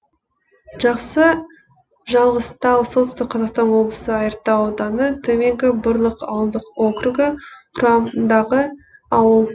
жақсы жалғызтау солтүстік қазақстан облысы айыртау ауданы төменгі бұрлық ауылдық округі құрамындағы ауыл